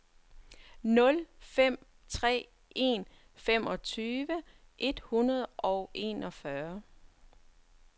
nul fem tre en femogtyve et hundrede og enogfyrre